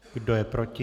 Kdo je proti?